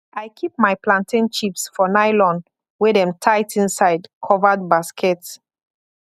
i keep my plantain chips for nylon wey dem tight inside covered basket